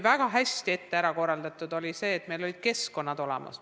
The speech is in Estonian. Väga hästi oli ette ära korraldatud see, et meil olid keskkonnad olemas.